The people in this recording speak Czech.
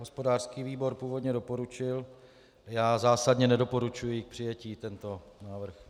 Hospodářský výbor původně doporučil, já zásadně nedoporučuji k přijetí tento návrh.